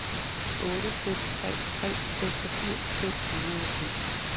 otte fem tre tre seksogfirs fem hundrede og syv